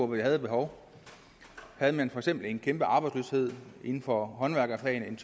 vi havde et behov havde man for eksempel en kæmpe arbejdsløshed inden for håndværkerfagene